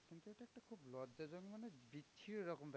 ছি এরকম ব্যাপার